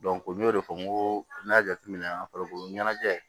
n y'o de fɔ n ko n y'a jateminɛ an farikolo ɲɛnajɛ